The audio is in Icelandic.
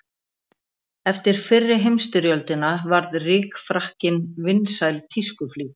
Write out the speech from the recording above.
Eftir fyrri heimsstyrjöldina varð rykfrakkinn vinsæl tískuflík.